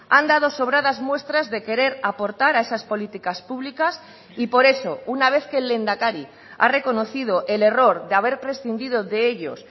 han dado sobradas muestras de querer aportar a esas políticas públicas y por eso una vez que el lehendakari ha reconocido el error de haber prescindido de ellos